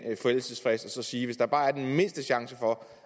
forældelsesfrist og så sige at hvis der bare er den mindste chance for